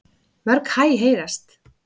Mörg hæ heyrast.